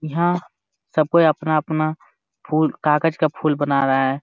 यहाँ सब कोई अपना-अपना फूल कागज का फूल बना रहा है।